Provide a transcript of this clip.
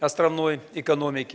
островной экономики